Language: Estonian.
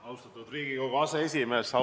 Austatud Riigikogu aseesimees!